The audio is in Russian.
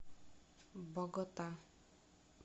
богота